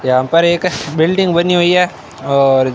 यहां पर एक बिल्डिंग बनी हुई है और--